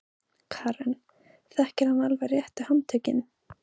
Karen: Þekkir hann alveg réttu handtökin?